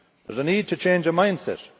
There is a need to change our mindset.